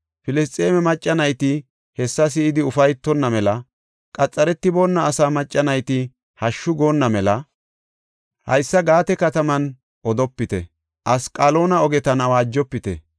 Filisxeeme macca nayti hessa si7idi ufaytonna mela, qaxaretiboona asaa macca nayti hashshu goonna mela, haysa Gaate kataman odopite Asqaloona ogetan awaajofite.